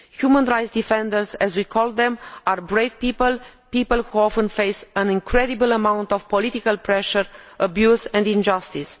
Human rights defenders, as we call them, are brave people, people who often face an incredible amount of political pressure, abuse and injustice.